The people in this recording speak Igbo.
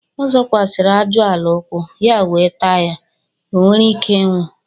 ọ zọkwasiri aju-ala ukwu, ya owe taa ya. o were Ike inwu